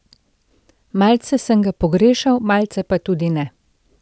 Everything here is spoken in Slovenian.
Malce sem ga pogrešal, malce pa tudi ne.